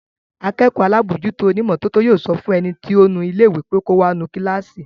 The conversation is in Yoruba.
Akẹ́kọ̀ọ́ alábòójútó onímọ́tótó yóò sọ fún ẹni tí ó ń nu ilé pé kò wá nu kíláàsì